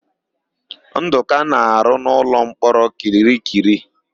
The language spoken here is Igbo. Ndụka na-arụ n'ụlọmkpọrọ Kirikiri.